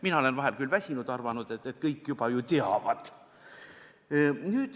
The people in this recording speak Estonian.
Mina olen vahel küll väsinud ja arvanud, et kõik juba ju teavad.